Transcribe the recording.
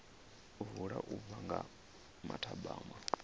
vula u bva nga mathabama